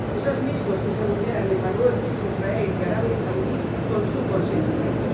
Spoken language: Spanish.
Esos mismos que se vulneran en Marruecos, Israel y Arabia Saudí con su consentimiento.